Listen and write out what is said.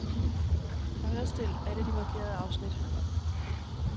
Højrestil alle de markerede afsnit.